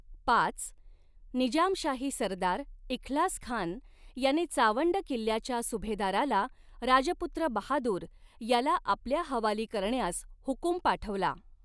पाच निजामशाही सरदार इख्लासखान याने चावंड किल्ल्याच्या सुभेदाराला राजपुत्र बहादूर याला आपल्या हवाली करण्यास हुकुम पाठवला.